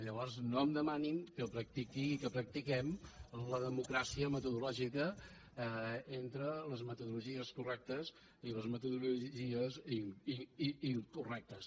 llavors no em demanin que practiquem la democràcia metodològica entre les meto·dologies correctes i les metodologies incorrectes